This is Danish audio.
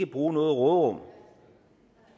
bruge noget råderum